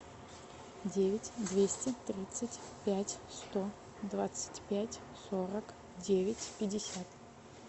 девять двести тридцать пять сто двадцать пять сорок девять пятьдесят